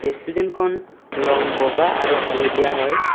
ৰেষ্টুৰেণ্টখন ৰঙ বগা আৰু হালধীয়া হয়।